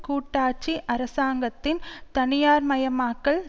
கூட்டாட்சி அரசாங்கத்தின் தனியார்மயமாக்கல்